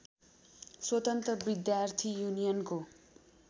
स्वतन्त्र विद्यार्थी युनियनको